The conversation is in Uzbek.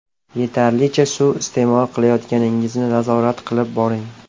Yetarlicha suv iste’mol qilayotganingizni nazorat qilib boring.